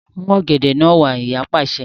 Mú ọ̀gẹ̀dẹ̀ náà wá! Ìyá pàṣẹ.